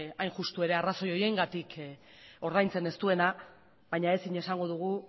hain justu arrazoi horiengatik ordaintzen ez duena baina ezin esango dugu